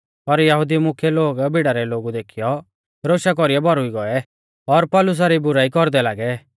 पर यहुदी मुख्यै लोग भीड़ा रै लोगु देखीयौ रोशा कौरीऐ भौरुई गौऐ और पौलुसा री बुराई कौरदै लागै